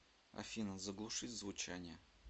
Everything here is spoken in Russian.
афина заглушить звучание